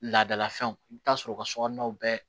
Laadalafɛnw i bɛ taa sɔrɔ u ka sokɔnɔnaw bɛɛ